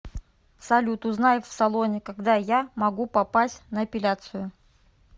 салют узнай в салоне когда я могу попасть на эпиляцию